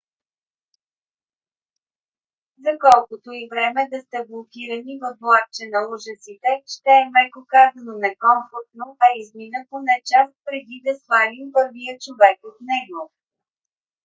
за колкото и време да сте блокирани във влакче на ужасите ще е меко казано некомфортно а измина поне час преди да свалим първия човек от него.